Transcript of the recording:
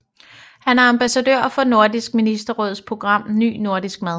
Han er ambassadør for Nordisk Ministerråds program Ny Nordisk Mad